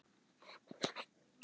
Sannkölluð paradís á jörðu.